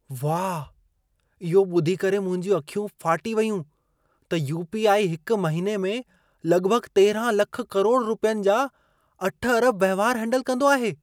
वाह! इहो ॿुधी करे मुंहिंजूं अखियूं फाटी वयूं त यू.पी.आई. हिक महिने में लॻभॻ 13 लख करोड़ रुपियनि जा 8 अरब वहिंवार हेंडल कंदो आहे।